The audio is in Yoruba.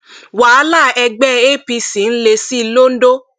wàhálà ẹgbẹ apc ń le sí i londo